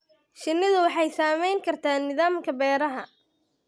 Shinnidu waxay saamayn kartaa nidaamka beeraha.